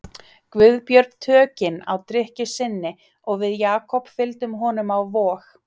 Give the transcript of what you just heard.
Guðbjörn tökin á drykkju sinni og við Jakob fylgdum honum á Vog.